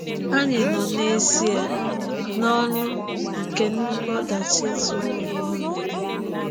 Ànyị a nọ n’ezịe n'ọnụ nke nnukwu ọdachi zuru ụwa ọnụ?